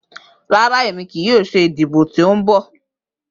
Rara, Emi kii yoo ṣe idibo ti nbọ.